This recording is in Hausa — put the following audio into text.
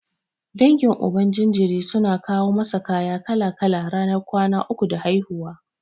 Dangin Uban jinjiri suna kawo masa kaya kala-kala ranar kwana uku da haihuwa.